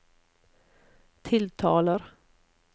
tiltaler